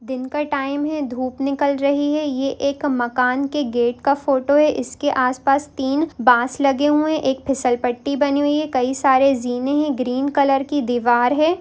दिन का टाइम है धूप निकल रही है ये एक मकान के गेट का फोटो है इसके आसपास तीन बांस लगे हुए है एक फिसल पट्टी बनी हुई है कई सारे जीने हैं ग्रीन कलर की दिवार है।